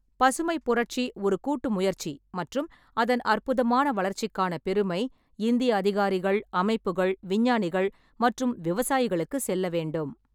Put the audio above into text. பசுமைப் புரட்சி ஒரு கூட்டு முயற்சி மற்றும் அதன் அற்புதமான வளர்ச்சிக்கான பெருமை இந்திய அதிகாரிகள், அமைப்புகள், விஞ்ஞானிகள் மற்றும் விவசாயிகளுக்குச் செல்ல வேண்டும்.